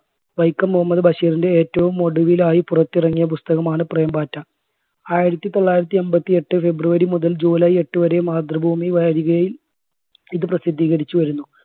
വൈക്കം മുഹമ്മദ് ബഷീറിൻറെ ഏറ്റവും ഒടുവിലായി പുറത്തിറങ്ങിയ പുസ്തകമാണ് പ്രേം പാറ്റ. ആയിരത്തി തൊള്ളായിരത്തി എൺപത്തി എട്ട് february മുതൽ july എട്ട് വരെ മാതൃഭൂമി വാരികയിൽ ഇത് പ്രസിദ്ധീകരിച്ച് വരുന്നു.